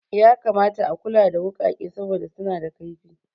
Ya kamata a kula da wuƙake saboda suna da kaifi